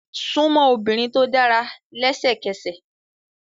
Súnmọ́ obìnrin tó dára lẹ́sẹ̀kẹsẹ̀!